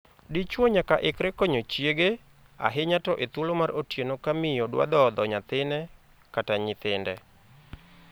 Dichwo nyaka ikre konyo chiege, ahinya to e thuolo mar otieno ka miyo dwa dhodho nyathine/nyithinde.